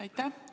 Aitäh!